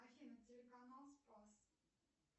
афина телеканал спас